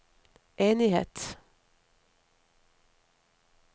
enighet